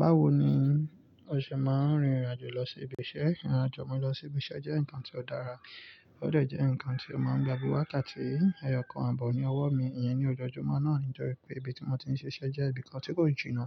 Báwo ni o ṣe máa n rìn ìrìnàjò lọ sí ibi iṣẹ́? Ìrìnàjò mi lọ sí ibi iṣẹ́ jẹ́ nǹkan tí ó dára, ó dè jẹ́ nǹkan tí ó máa ń gba bí wákátí eyọkàn ààbò ni ọwọ́ mi. Ìyẹn ni ọjọ́júmọ́ náà nìtọ́rí pé ibi tí mo ti ń ṣe iṣẹ́ jẹ́ ibi kan tí kò jìnnà